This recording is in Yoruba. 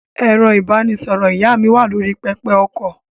Ẹ̀rọ-ìbánisọ̀rọ̀ ìyá mi wà lórí pẹpẹ-okọ̀.